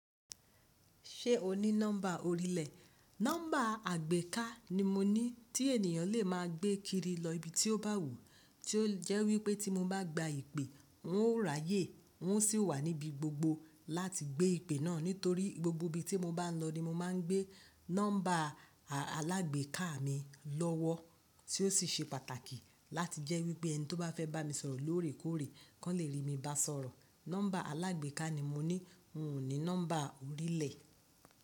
Ṣé o ní nọ́mbà orílẹ̀? Nọ́mbà àgbéká ni mo ní tí ènìyàn lè máa gbé kiri lọ ibi tí ó bá wù, tí ó jẹ́ wípé tí mo bá gba ìpè wọ́n ó ráyè, wọ́n sì ó wà níbi gbogbo láti gbé ìpè náà, nítorí gbogbo ibi tí mo bá ń lọ ni mo máa ń gbé nọ́mbà alágbéká mi lọ́wọ́ tí ó sì ṣe pàtàkì láti jẹ́ wípé ẹni tó bá fẹ́ bá mi sọ̀rọ̀ lóòrèkóòrè, kí wọ́n lè rí mi bá sọ̀rọ̀. Nọ́mbà alágbéká ni mo ní, n ò ní nọ́mbà orílẹ̀.